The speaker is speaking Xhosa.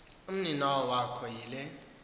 umninawa wakho yile